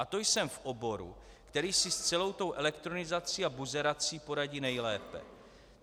A to jsem v oboru, který si s celou tou elektronizací a buzerací poradí nejlépe.